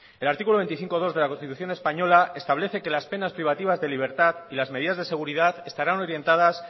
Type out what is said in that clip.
el artículo veinticinco punto dos de la constitución española establece que las penas privativas de libertad y las medidas de seguridad estarán orientadas